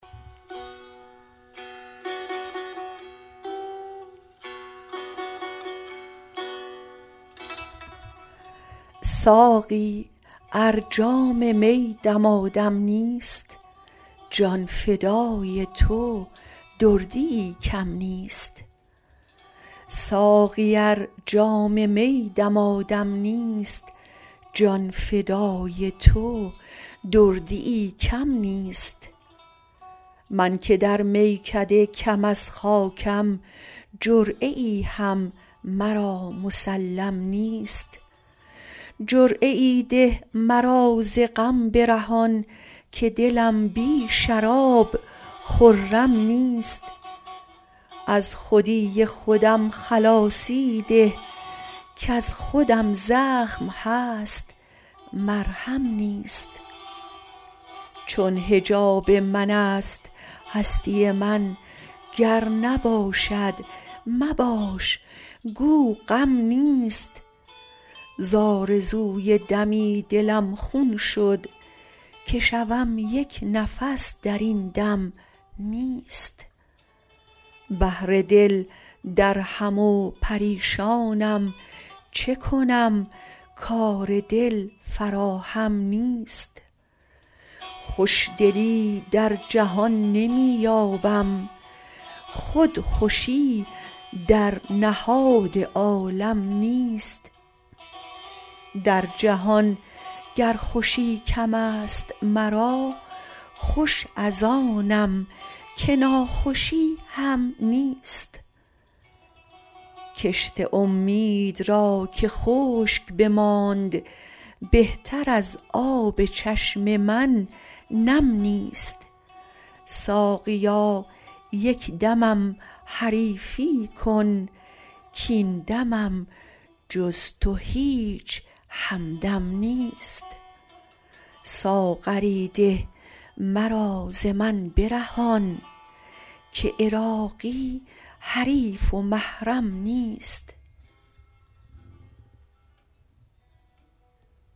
ساقی ار جام می دمادم نیست جان فدای تو دردیی کم نیست من که در میکده کم از خاکم جرعه ای هم مرا مسلم نیست جرعه ای ده مرا ز غم برهان که دلم بی شراب خرم نیست از خودی خودم خلاصی ده کز خودم زخم هست مرهم نیست چون حجاب من است هستی من گر نباشد مباش گو غم نیست ز آرزوی دمی دلم خون شد که شوم یک نفس درین دم نیست بهر دل درهم و پریشانم چه کنم کار دل فراهم نیست خوشدلی در جهان نمی یابم خود خوشی در نهاد عالم نیست در جهان گر خوشی کم است مرا خوش از آنم که ناخوشی هم نیست کشت امید را که خشک بماند بهتر از آب چشم من نم نیست ساقیا یک دمم حریفی کن کین دمم جز تو هیچ همدم نیست ساغری ده مرا ز من برهان که عراقی حریف و محرم نیست